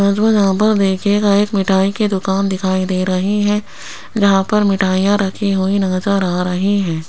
मुझको जहां पर देखिएगा एक मिठाई की दुकान दिखाई दे रही है यहां पर मिठाईयां रखी हुई नजर आ रही है।